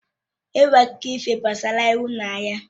Enwere akụkọ ifo gbasara ịhụnanya